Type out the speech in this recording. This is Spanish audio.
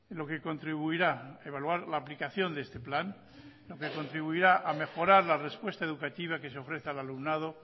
lo que contribuirá evaluar la aplicación de este plan lo que contribuirá a mejorar la respuesta educativa que se ofrece al alumnado